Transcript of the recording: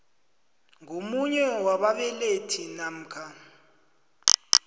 ngomunye wababelethi namkha